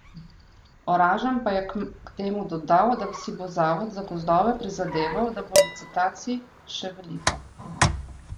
Oražem pa je k temu dodal, da si bo zavod za gozdove prizadeval, da bo licitacij še veliko.